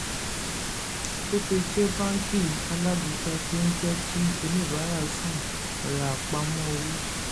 opay jẹ́ báńkì alágbéka tó ń jẹ́ kí oníbàárà san rán pamọ́ owó.